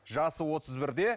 жасы отыз бірде